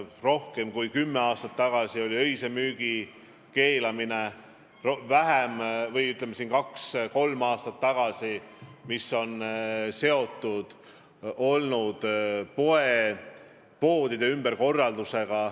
Rohkem kui kümme aastat tagasi me keelasime öise müügi, kaks või kolm aastat tagasi nõudsime poodidelt müügi ümberkorraldamist.